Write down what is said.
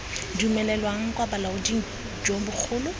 dumelelwang kwa bolaoding jo bogolo